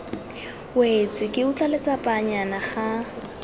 wetse ke utlwa letsapanyana ga